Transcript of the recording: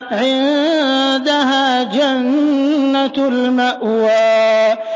عِندَهَا جَنَّةُ الْمَأْوَىٰ